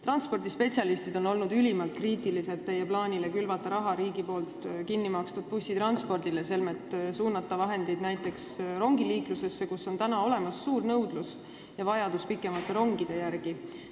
Transpordispetsialistid on olnud ülimalt kriitilised teie plaani suhtes külvata raha riigi kinnimakstud bussitranspordile, selmet suunata vahendeid näiteks rongiliiklusesse, kus on olemas suur nõudlus ja on vajadus pikemate rongide järele.